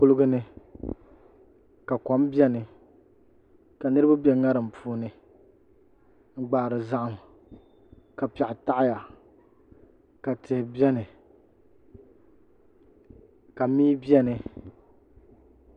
Kuligi ni ka kom biɛni ka niraba bɛ ŋarim puuni n gbaari zaham ka piɛɣu taɣaya ka tihi biɛni ka mii biɛni